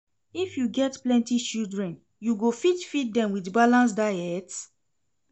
If you get plenty children, you go fit feed dem wit balanced diet?